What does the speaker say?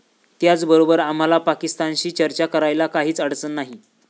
त्याचबरोबर आम्हाला पाकिस्तानशी चर्चा करायला काहीच अडचण नाही.